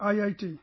IIT